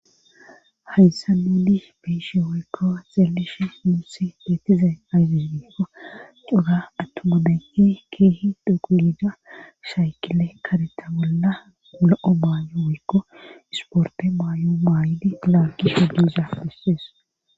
hayssa nuudi beishi woykko xeelishi muusi beetizayn ayfis diikko cora attomabenhe keehi dhoquida shaykile kadeta bolla lo7o baayo woykko isporte maayo maayidi laaggi hodiza dissees